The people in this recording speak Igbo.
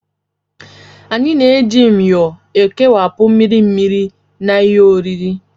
Anyị na-eji myo ekewapụ mmiri mmiri na ihe oriri